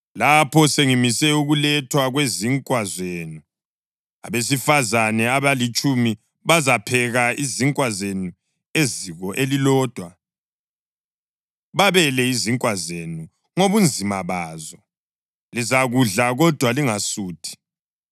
Lapho sengimise ukulethwa kwezinkwa zenu, abesifazane abalitshumi bazapheka izinkwa zenu eziko elilodwa, babele izinkwa zenu ngobunzima bazo; lizakudla kodwa lingasuthi.